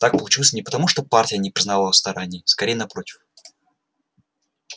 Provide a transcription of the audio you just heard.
так получилось не потому что партия не признавала его стараний скорее напротив